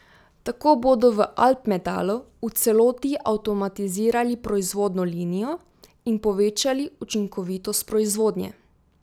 Tako bodo v Alpmetalu v celoti avtomatizirali proizvodno linijo in povečali učinkovitost proizvodnje.